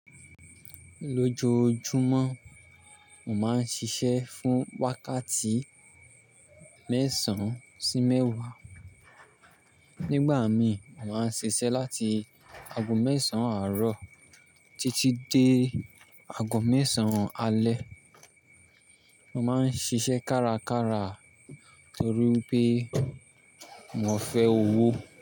Lójojúmọ́, mò ma ń ṣiṣẹ́ fún wákàtí mẹ́sàn-án sí mẹ́wàá. Nígbà mí, mò ma ń ṣiṣẹ́ láti ago mẹ́sàn-án àárọ̀ títí dé ago mẹ́sàn-án alẹ́. Mò ma ń ṣiṣẹ́ kárakára torí wipé mò ń fẹ́ owó.